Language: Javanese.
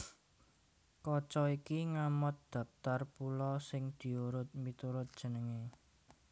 Kaca iki ngamot dhaptar pulo sing diurut miturut jenengé